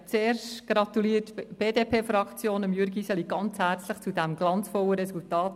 Zuerst gratuliert die BDP Jürg Iseli zum glanzvollen Resultat.